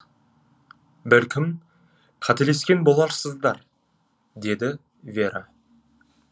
бәлкім қателескен боларсыздар деді вера